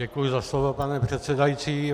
Děkuji za slovo, pane předsedající.